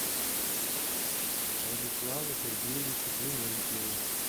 радиславу сергеевичу клементьеву